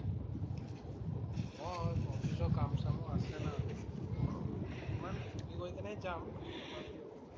অ' অফিচৰ কাম চামো আছে না। ইমান chutti লৈ কেনে যাম। তথাপিও।